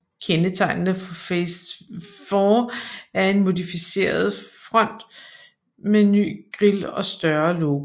Kendetegnene for Phase IV er en modificeret front med ny grill og større logo